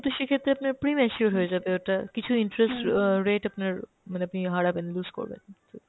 তো সেক্ষেত্রে আপনার pre mature হয়ে যাবে ওটা, কিছু interest অ্যাঁ rate আপনার মানে আপনি হারাবেন, lose করবেন ।